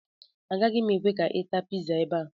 Agaghị m ekwe ka ị taa pizza ebe a